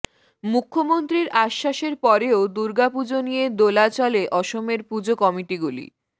মুখ্যমন্ত্রীর আশ্বাসের পরেও দুর্গাপুজো নিয়ে দোলাচলে অসমের পুজো কমিটিগুলি